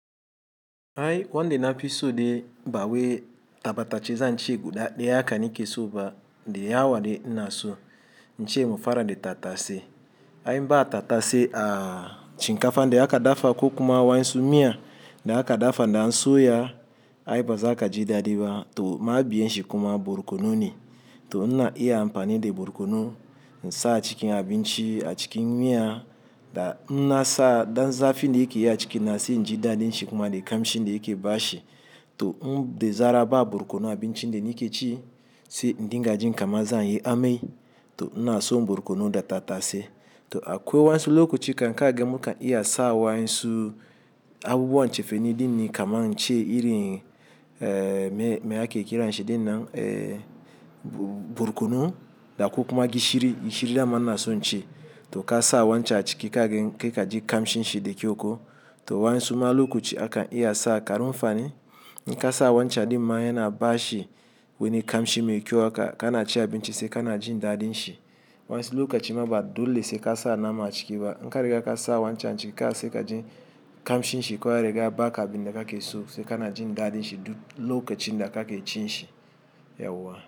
Ai won de nafi sude bawe tabata chi zan chi guda daya aka ni ke soba dayawa de ina so. Inchi mufara de tata se. Ai mba tata se a chin kafa de aka dafa ko kuma wa nsu miya de aka dafa na nso ya. Ai baza aka ji da diba to ma biyen shi kuma borkono ne. To na iya amfani de borkono insa a cikin abin chi a cikin miya da inna sa dan zafin de yake yi a cikin na si ji da din shi kuma de kamshi ne yake bashi. To inde zara ba borkonu abin chin de ni ke ci se dinga jin kama zan yi amai to ina so borkono da tata se. To akwai wansu lokaci kan ka gama ka iya sa wa nsu abubuwan cefeni din ni kama inchi iri me ake kira shi din nan borkono da ko kuma gishiri, gishiri dama na so nchi to ka sa wancan a ciki ka gan kai ka ji kamshin shi de kyauko. To wa nsu ma lokaci akan iya sa kanunfani. In ka sa wancan din maya na bashi wani kamshi mai kyau haka kana ci abin chi se kana jin da din shi. Wansu lokacin ma ba dole se ka sa nama a ciki ba. In kariga ka sa wancan chi ka se ka jin kamshin shi ko kare ka ba ka bin de ka ke so se kana jin da din shi duk lokacin da ka ke cin shi. Yawwa.